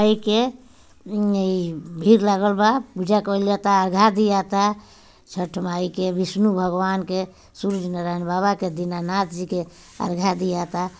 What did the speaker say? ऐके एम्म-म ई भीड़ लागल बा पूजा कईल जाता अरघा दिया ता छठ माई के। विष्णु भगवान के सूरज नारायण बाबा दीना नाथ जी के अरघा दियाता।